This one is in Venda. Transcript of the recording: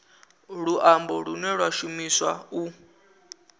luambo lune lwa shumiswa u